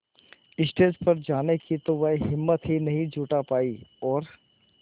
stage पर जाने की तो वह हिम्मत ही नहीं जुटा पाई और